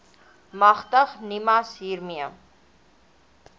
magtig nimas hiermee